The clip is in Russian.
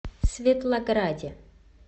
светлограде